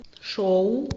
шоу